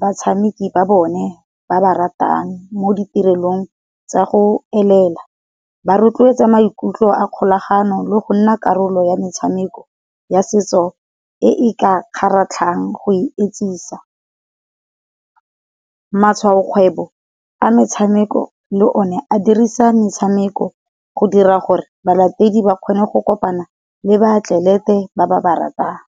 batshameki ba bone ba ba ratang mo ditirelong tsa go elela. Ba rotloetsa maikutlo a kgolagano le go nna karolo ya metshameko ya setso e e ka kgaratlhang go etsisa. Matshwaokgwebo a metshameko le o ne a dirisa metshameko go dira gore balatedi ba kgone go kopana le ba atlelete ba ba baratang.